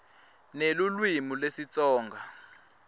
nelulwimi lesitsonga